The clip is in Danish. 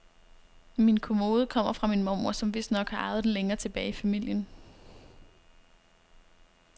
Min kommode kommer fra min mormor, som vistnok har arvet den længere tilbage i familien.